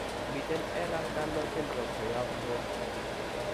Miten Ehlers Danlos syndrome koyop loo